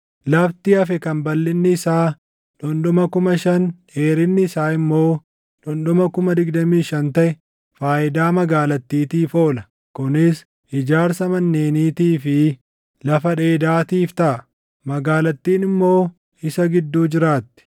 “Lafti hafe kan balʼinni isaa dhundhuma 5,000, dheerinni isaa immoo dhundhuma 25,000 taʼe faayidaa magaalattiitiif oola; kunis ijaarsa manneeniitii fi lafa dheedaatiif taʼa. Magaalattiin immoo isa gidduu jiraatti;